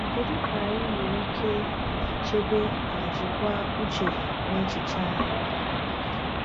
Kedu ka anyị nwere ike chebe ma jikwaa uche na echiche anyị?